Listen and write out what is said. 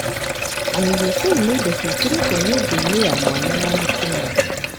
IUC nĩ indo cĩĩkĩrĩto nyũngũinĩ ya mwana ya mũtumia.